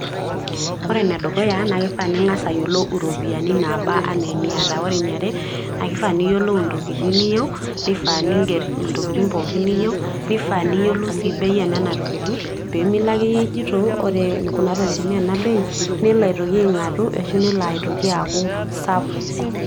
ore ene dukuya naa kifaa ning'as ayiolou iropiyiani naba ana eniata, ore eniare na kifaa niyiolou intokitin niyieu, nifaa niger intokitin pookin, niyieu, nifaa niger bei enena tokitin, pee milo ake ijito ore kuna tokitin naa ena bei nelo aitoki aing'atu ashu nelo aitoki aaaku sapuk.